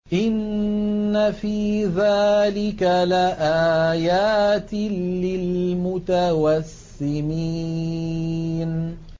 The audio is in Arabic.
إِنَّ فِي ذَٰلِكَ لَآيَاتٍ لِّلْمُتَوَسِّمِينَ